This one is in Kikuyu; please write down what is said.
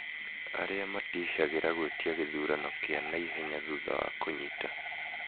Arĩa matishagĩra gwĩtia gĩthurano kiĩ naihenya thutha wa kũnyita